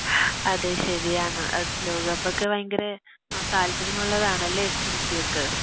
അത് ശെരിയാണ് ലോകക്കപ്പൊക്കെ ഭയങ്കരെ ന താൽപ്പര്യമുള്ളതാണല്ലെ സുൽഫിയക്ക്